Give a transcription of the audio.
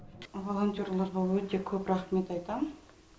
волонтерларға өте көп рахмет айтамын